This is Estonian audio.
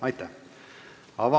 Aitäh!